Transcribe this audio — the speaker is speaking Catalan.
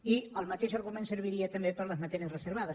i el mateix argument serviria també per a les matèries reservades